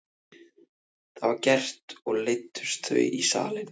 Það var gert og leiddust þau í salinn.